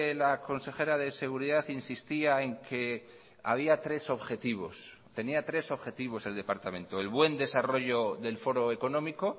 la consejera de seguridad insistía en que había tres objetivos tenía tres objetivos el departamento el buen desarrollo del foro económico